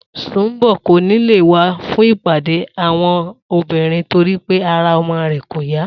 Sùnḿbò̩ kò ní lè wá fún ìpàdé àwo̩n obìnrin nitorí pé ara o̩mo̩ rè̩ kò yá